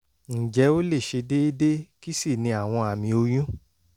ǹjẹ́ ó lè ṣe déédé? kí sì ni àwọn àmì oyún?